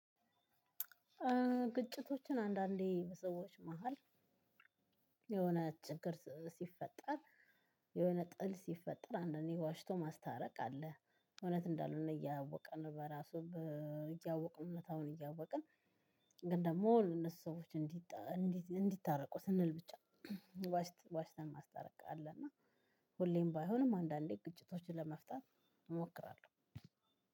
ግጭቶችን አንዳንዴ በሰዎች መሃል የሆነ ችግር ሲፈጠር የሆነ ጥል ሲፈጠር አንዳንዴ ዋሽቶ ማስታረቅ አለ እውነት እንዳልሆነ እያወቅን በራሱ እያወቅን እውነታውን እያወቅን። ግን ደግሞ እነሱ ሰዎች እንዲታረቁ ስንል ብቻ ዋሽተ ዋሽተን ማስታረቅ አለ። እና ሁሌም ባይሆንም አንዳንዴ ግጭቶችን ለመፍታት እሞክራለሁ።